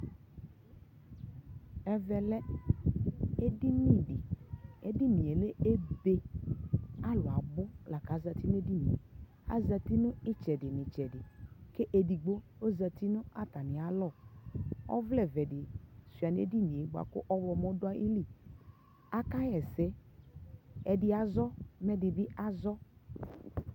alɛvi ɛƒʋa di ayanʋ ɛvɛ, atani adu awʋ nʋ ʋwɔ nʋli, ka akɔ ɛkɔtɔ, adʋ ala ayi sɔsi, ka aka dʋ blɔki